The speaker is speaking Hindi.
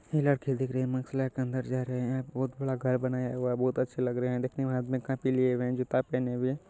ये लड़की दिख रही है। माक्स लगा के अंदर जा रहे हैं। बोहोत बड़ा गय बनाया हुआ है। बोहोत अच्छे लग रहे हैं देखने में। हाथ में कॉपी लिए जूता पहने हुए --